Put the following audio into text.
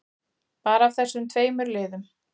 Bara af þessum tveimur liðum.